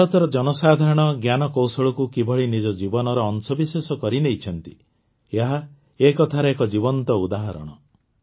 ଭାରତର ଜନସାଧାରଣ ଜ୍ଞାନକୌଶଳକୁ କିଭଳି ନିଜ ଜୀବନର ଅଂଶବିଶେଷ କରିନେଇଛନ୍ତି ଏହା ଏ କଥାର ଏକ ଜୀବନ୍ତ ଉଦାହରଣ